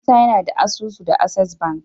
musa yAna da asusu da access banki